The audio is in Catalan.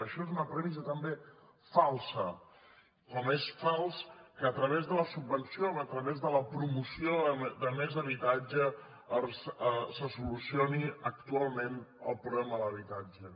això és una premissa també falsa com és fals que a través de la subvenció a través de la pro·moció de més habitatge se solucioni actualment el problema de l’habitatge